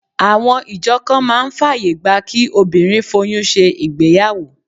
Àwọn ìjọ kan máa ń fàyè gba kí obìnrin foyún ṣe ìgbéyàwó